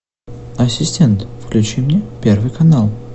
ассистент включи мне первый канал